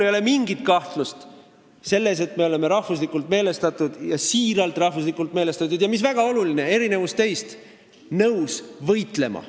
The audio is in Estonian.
Ei ole mingit kahtlust selles, et me oleme rahvuslikult meelestatud ja siiralt rahvuslikult meelestatud, ja on väga oluline, et erinevalt teist oleme nõus võitlema.